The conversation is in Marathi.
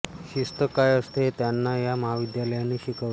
शिस्त काय असते हे त्यांना या महाविद्यालयाने शिकवले